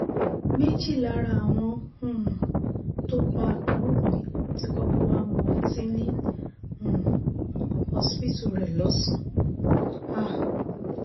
méjì lára àwọn um tó pa àbúrò mi ti kọ́kọ́ wá mu ọtí ní um hospital rẹ̀ lọ́sàn-án